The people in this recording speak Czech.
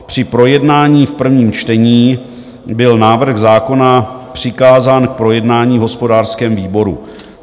Při projednání v prvním čtení byl návrh zákona přikázán k projednání v hospodářském výboru.